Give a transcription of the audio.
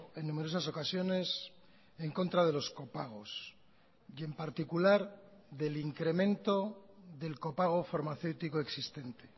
en numerosas ocasiones en contra de los copagos y en particular del incremento del copago farmacéutico existente